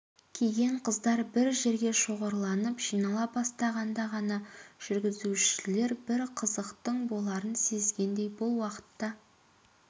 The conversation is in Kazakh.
киген қыздар бір жерге шоғырланып жинала бастағанда ғана жүргіншілер бір қызықтың боларын сезгендей бұл уақытта